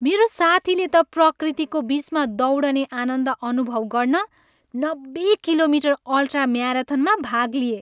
मेरो साथीले त प्रकृतिको बिचमा दौडने आनन्द अनुभव गर्न नब्बे किलोमिटर अल्ट्रा म्याराथनमा भाग लिए।